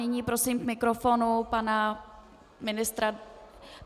Nyní prosím k mikrofonu pana ministra.